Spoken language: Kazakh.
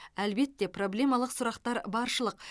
әлбетте проблемалық сұрақтар баршылық